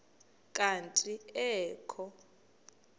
kanti ee kho